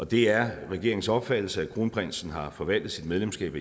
det er regeringens opfattelse at kronprinsen har forvaltet sit medlemskab